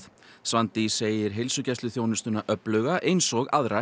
Svandís segir heilsugæsluþjónustuna öfluga eins og aðra